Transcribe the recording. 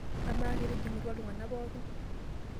Amaa, ketijingutua iltungana pookin?